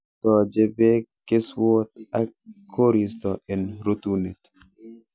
Tooche beek keswoot ak koristo en rutuunet